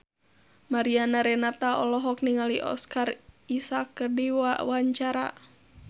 Mariana Renata olohok ningali Oscar Isaac keur diwawancara